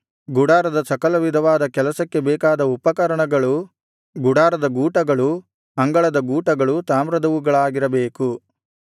ಗುಡಾರದ ಸಕಲವಿಧವಾದ ಕೆಲಸಕ್ಕೆ ಬೇಕಾದ ಉಪಕರಣಗಳೂ ಗುಡಾರದ ಗೂಟಗಳೂ ಅಂಗಳದ ಗೂಟಗಳೂ ತಾಮ್ರದವುಗಳಾಗಿರಬೇಕು